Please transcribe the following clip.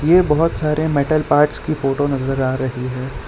ये बहोत सारे मेटल पार्ट्स की फोटो नजर आ रही है।